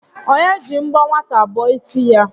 Onye ji mbọ nwata bọọ ịsị ya?